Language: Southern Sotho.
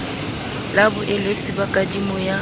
la boeletsi ba kadimo ya